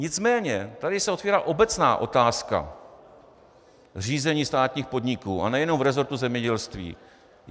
Nicméně tady se otvírá obecná otázka řízení státních podniků, a nejenom v resortu zemědělství.